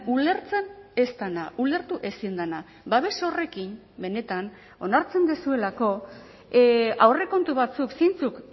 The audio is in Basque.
ulertzen ez dena ulertu ezin dena babes horrekin benetan onartzen duzuelako aurrekontu batzuk zeintzuk